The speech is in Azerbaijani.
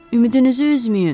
Ümidinizi üzməyin!